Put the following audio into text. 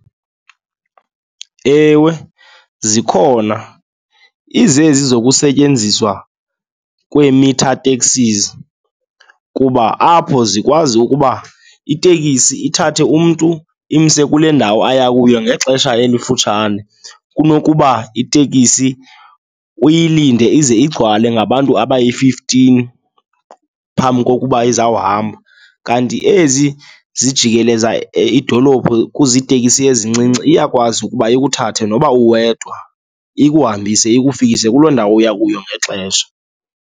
Ewe, zikhona. Izezi zokusetyenziswa kwee-meter taxis kuba apho zikwazi ukuba itekisi ithathe umntu imse kule ndawo ayakuyo ngexesha elifutshane, kunokuba itekisi uyilinde ize igcwale ngabantu abayi-fifteen phambi kokuba izawuhamba. Kanti ezi zijikeleza idolophu kuzitekisi ezincinci, iyakwazi ukuba ikuthathe noba uwedwa ikuhambise ikufikise kuloo ndawo uyakuyo ngexesha.